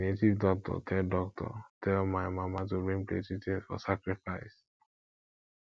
the native doctor tell doctor tell my mama to bring plenty things for sacrifice